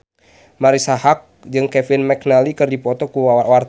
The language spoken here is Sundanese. Marisa Haque jeung Kevin McNally keur dipoto ku wartawan